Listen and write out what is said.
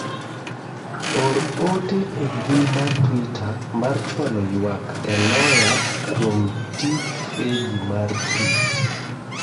or ote e mbui mar twita mar chwalo ywak e loya kuom tij freji mar pii